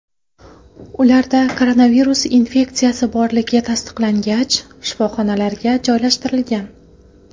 Ularda koronavirus infeksiyasi borligi tasdiqlangach, shifoxonaga joylashtirilgan.